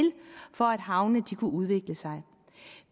for at havne kan udvikle sig